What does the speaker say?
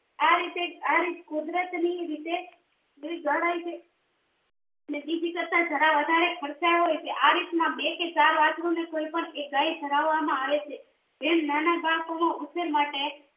આરીતે આરીત કુદરતની રીતે ગણાય છે અને બીજી કરતા જરા વધારે ખર્ચાળ હોયછે આ રીતના બે કે ચાર વાછરુને કોઈ એક ગાય ધવરાવવામાં આવે છે જેમ નાના બાળકો ના ઉછેર માટે